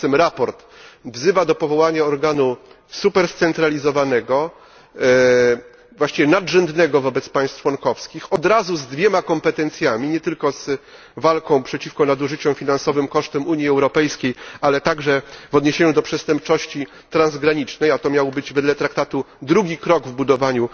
Tymczasem sprawozdanie wzywa do powołania organu super scentralizowanego, właściwie nadrzędnego wobec państw członkowskich, od razu z dwoma kompetencjami nie tylko walką przeciwko nadużyciom finansowym kosztem Unii Europejskiej, ale także kompetencjami w zwalczaniu przestępczości transgranicznej, a to miał być, wedle traktatu, drugi krok w budowaniu